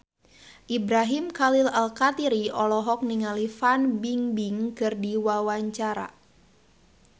Ibrahim Khalil Alkatiri olohok ningali Fan Bingbing keur diwawancara